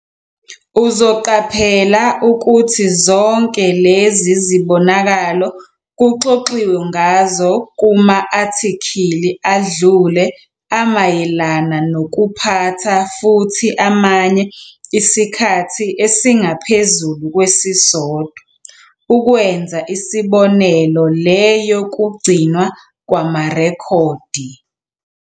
Uzoqaphela ukuthi zonke lezi zibonakalo kuxoxiwe ngazo kuma-athikhili adlule amayelana nokuphatha futhi amanye isikhathi esingaphezulu kwesisodwa, ukwenza isibonelo le yokugcinwa kwamarekhodi.